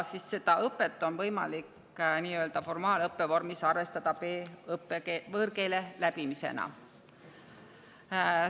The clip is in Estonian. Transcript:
Seda õpet on võimalik formaalõppevormis arvestada B‑võõrkeele.